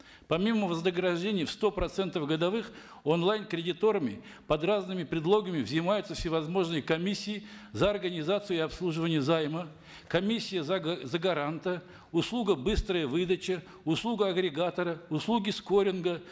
помимо вознаграждения в сто процентов годовых онлайн кредиторами под разными предлогами взимаются всевозможные комиссии за организацию и обслуживание займа комиссия за за гаранта услуга быстрая выдача услуга агрегатора услуги скоринга